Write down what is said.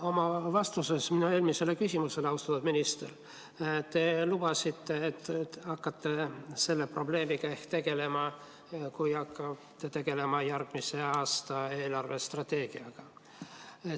Oma vastuses minu eelmisele küsimusele, austatud minister, te lubasite, et hakkate selle probleemiga tegelema siis, kui hakkate tegelema järgmise aasta eelarvestrateegiaga.